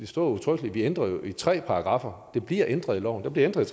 står udtrykkeligt at vi ændrer i tre paragraffer det bliver ændret i loven der bliver ændret